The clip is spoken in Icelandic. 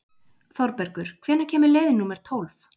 Þorbergur, hvenær kemur leið númer tólf?